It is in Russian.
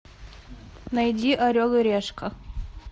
найди орел и решка